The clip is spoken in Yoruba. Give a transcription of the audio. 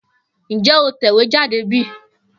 Njé o tẹ̀wéjáde bí?